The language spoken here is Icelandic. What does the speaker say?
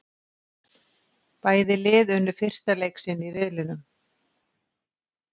Bæði lið unnu fyrsta leik sinn í riðlinum.